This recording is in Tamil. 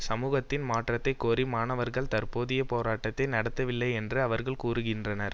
சமூகத்தின் மாற்றத்தை கோரி மாணவர்கள் தற்போதைய போரட்டத்தை நடத்தவில்லை என்று அவர்கள் கூறுகின்றனர்